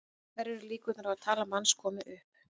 Hverjar eru líkurnar á að talan manns komi upp?